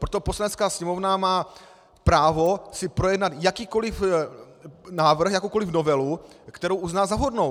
Proto Poslanecká sněmovna má právo si projednat jakýkoliv návrh, jakoukoliv novelu, kterou uzná za vhodnou.